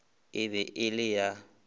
e be e le la